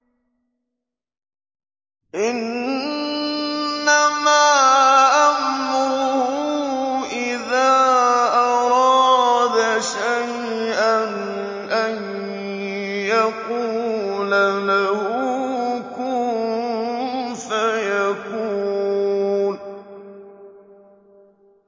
إِنَّمَا أَمْرُهُ إِذَا أَرَادَ شَيْئًا أَن يَقُولَ لَهُ كُن فَيَكُونُ